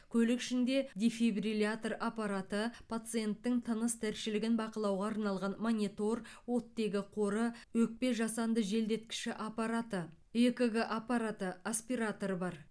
көлік ішінде дефибрилятор аппараты пациенттің тыныс тіршілігін бақылауға арналған монитор оттегі қоры өкпе жасанды желдеткіші аппараты экг аппараты аспиратор бар